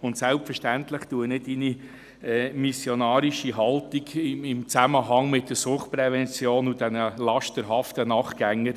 Und selbstverständlich würdige ich Ihre missionarische Haltung im Zusammenhang mit der Suchtprävention und den lasterhaften Nachtgängern